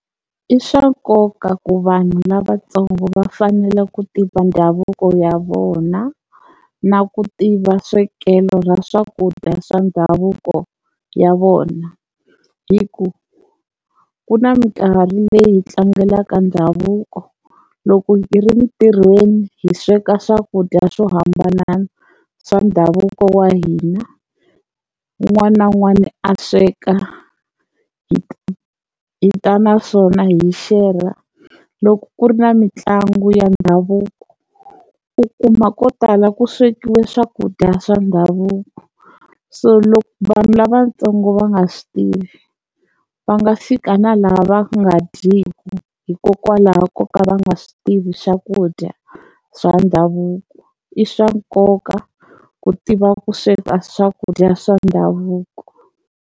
I swa nkoka ku vanhu lavatsongo va fanela ku tiva ndhavuko ya vona na ku tiva swekelo ra swakudya swa ndhavuko ya vona hi ku ku na minkarhi leyi hi tlangelaka ndhavuko loko hi ri ntirhweni hi sweka swakudya swo hambana swa ndhavuko wa hina, wun'wana na wun'wana a sweka hi hi ta naswona hi xerha, loko ku ri na mitlangu ya ndhavuko u kuma ko tala ku swekiwe swakudya swa ndhavuko, so loko vanhu lavatsongo va nga swi tivi va nga fika na lava va nga dyeku hikokwalaho ko ka va nga swi tivi swakudya swa ndhavuko i swa nkoka ku tiva ku sweka swakudya swa ndhavuko.